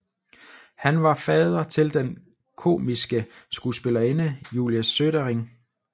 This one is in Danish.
Han var fader til den komiske skuespillerinde Julie Sødring